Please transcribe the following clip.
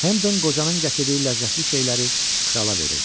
Hendan qocanın gətirdiyi ləzzətli şeyləri krala verirdi.